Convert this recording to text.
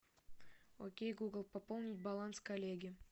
окей гугл пополнить баланс коллеги